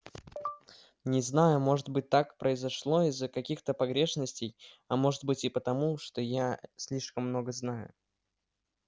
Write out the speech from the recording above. не знаю может быть так произошло из-за каких-то погрешностей а может быть и потому что я слишком много знаю